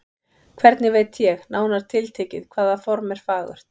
Hvernig veit ég, nánar tiltekið, hvaða form er fagurt?